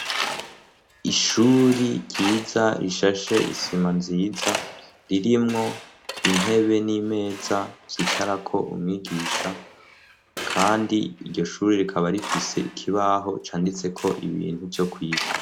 Ishuri ryiza rishashe isima nziza ririmwo intebe n'imeza vyicarako umwigisha kandi iryo shuri rikaba rifise ikibaho canditse ko ibintu vyo kwiga.